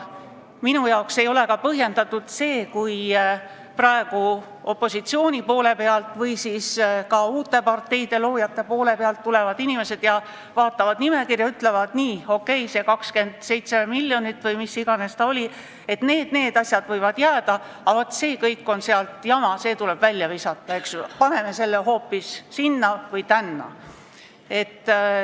Minu jaoks ei ole põhjendatud, kui praegu opositsiooni poole pealt või ka uute parteide loojate poole pealt tulevad inimesed, vaatavad nimekirja ja ütlevad nii: okei, see 27 miljonit või mis iganes ta oli, et need ja need asjad võivad jääda, aga vaat see seal on jama, see tuleb välja visata, paneme selle raha hoopis sinna või tänna.